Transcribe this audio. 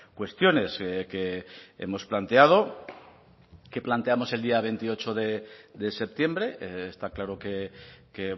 cuestiones que hemos planteado que planteamos el día veintiocho de septiembre está claro que